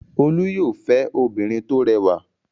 Olú yóò fẹ́ obìnrin tó rẹwà!